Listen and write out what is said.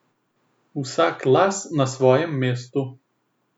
Vsak las na svojem mestu.